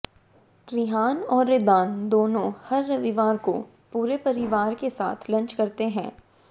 ऋहान और ऋदान दोनों हर रविवार को पूरे परिवार के साथ लंच करते हैं